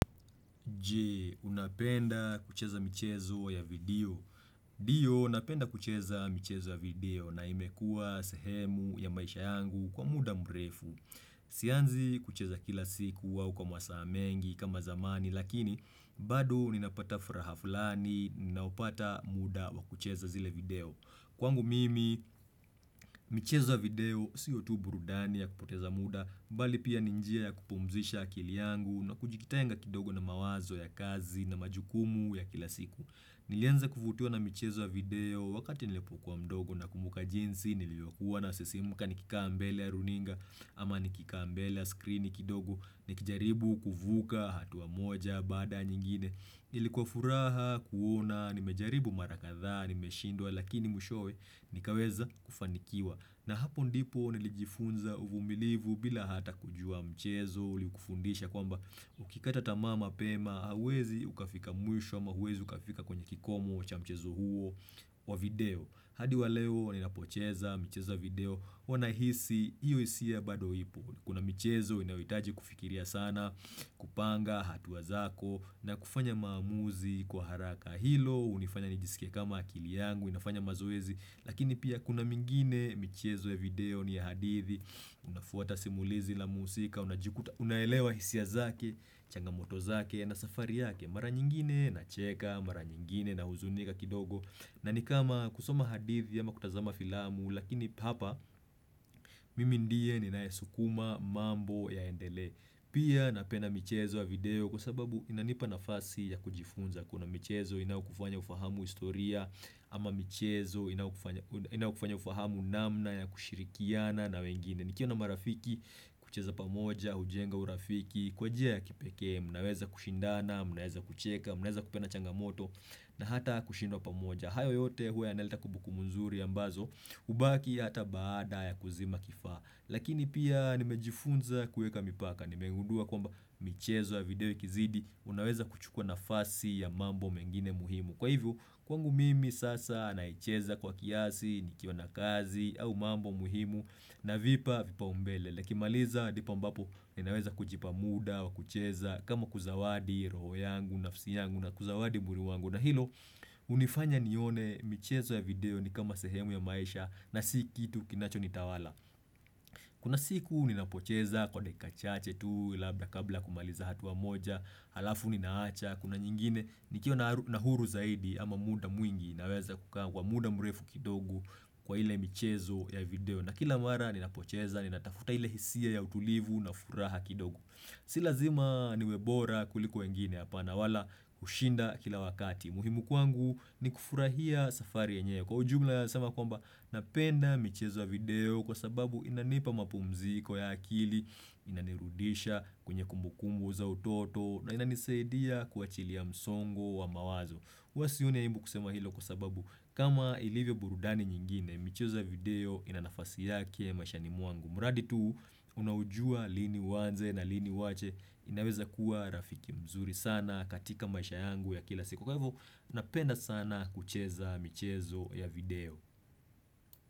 Je, unapenda kucheza michezo ya video? Ndio, napenda kucheza michezo ya video na imekua sehemu ya maisha yangu kwa muda mrefu. Sianzi kucheza kila siku au kwa masaa mengi kama zamani, lakini bado ninapata furaha fulani, ninapopata muda wa kucheza zile video. Kwangu mimi, michezo ya video sio tu burudani ya kupoteza muda, mbali pia ni njia ya kupumzisha akili yangu na kujitenga kidogo na mawazo ya kazi na majukumu ya kila siku. Nilianza kuvitiwa na michezo video wakati nilipokuwa mdogo nakumbuka jinsi, nilivyokuwa nasisimuka nikikaa mbele ya runinga, ama nikikaa mbele ya screen kidogo, nikijaribu kuvuga hatua moja, baada ya nyingine. Ilikuwa furaha, kuona, nimejaribu mara kadhaa, nimeshindwa, lakini mwishowe nikaweza kufanikiwa. Na hapo ndipo nilijifunza uvumilivu bila hata kujua mchezo, ilikufundisha kwamba ukikata tamaa mapema, hauwezi ukafika mwisho, ama huwezi ukafika kwenye kikomo cha mchezo huo wa video. Hadi wa leo, ninapocheza michezo ya video, huwa nahisi, hiyo hisia bado ipo Kuna michezo inayohitaji kufikiria sana kupanga hatua zako na kufanya maamuzi kwa haraka hilo hunifanya nijisike kama akili yangu inafanya mazoezi lakini pia kuna mengine michezo ya video ni ya hadithi Unafuata simulizi la muhusika, unaelewa hisia zake, changamoto zake na safari yake. Mara nyingine nacheka, mara nyingine nahuzunika kidogo na ni kama kusoma hadithi ama kutazama filamu Lakini hapa mimi ndiye ninayesukuma mambo yaendelee Pia napenda michezo ya video kwa sababu inanipa nafasi ya kujifunza Kuna michezo inayokufanya ufahamu historia ama michezo inayokufanya ufahamu namna ya kushirikiana na wengine. Nikiwa na marafiki hucheza pamoja, hujenga urafiki, kwa njia ya kipekee, mnaweza kushindana, mnaweza kucheka, mnaweza kupenda changamoto na hata kushindwa pamoja. Hayo yote huwa yanaleta kumbukumbu nzuri ambazo hubaki hata baada ya kuzima kifaa. Lakini pia nimejifunza kuweka mipaka. Nimegundua kwamba michezo ya video ikizidi unaweza kuchukua nafasi ya mambo mengine muhimu. Kwa hivyo kwangu mimi sasa naicheza kwa kiasi nikiwa na kazi au mambo muhimu navipa vipaumbele. Nikimaliza ndipo ambapo ninaweza kujipa muda wa kucheza kama kuzawadi roho yangu, nafsi yangu na kuzawadi mwili wangu. Na hilo, hunifanya nione michezo ya video ni kama sehemu ya maisha na si kitu kinacho nitawala. Kuna siku ninapocheza kwa dakika chache tu labda kabla ya kumaliza hatua moja, halafu ninaacha, kuna nyingine nikiwa na huru zaidi ama muda mwingi naweza kukaa kwa muda mrefu kidogu kwa ile michezo ya video. Na kila mara ninapocheza, ninatafuta ile hisia ya utulivu na furaha kidogo. Si lazima niwe bora kuliko wengine apana wala kushinda kila wakati. Muhimu kwangu ni kufurahia safari yenyewe. Kwa ujumla naeza sema kwamba napenda michezo ya video kwa sababu inanipa mapumziko ya akili, inanirudisha kwenye kumbukumbu za utoto na inanisaidia kuachilia msongo wa mawazo. Huwa sioni aibu kusema hilo kwa sababu kama ilivyo burudani nyingine, michezo ya video ina nafasi yake maishani mwangu. Muradi tu unaujua lini uanze na lini uwache inaweza kuwa rafiki mzuri sana katika maisha yangu ya kila siku. Kwa hivyo napenda sana kucheza michezo ya video.